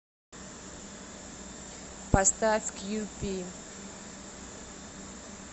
поставь кью пи